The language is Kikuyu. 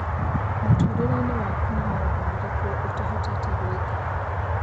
Mũtũrĩre-inĩ wakũ nĩ maũndũ marĩkĩ ũtahotete gwĩka